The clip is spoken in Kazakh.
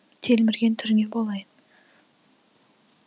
телмірген түріңе болайын